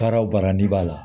Baara o baara n'i b'a la